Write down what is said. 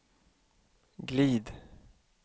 glid